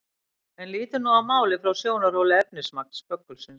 En lítum nú á málið frá sjónarhóli efnismagns böggulsins.